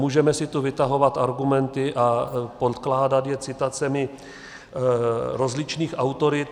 Můžeme si tu vytahovat argumenty a podkládat je citacemi rozličných autorit.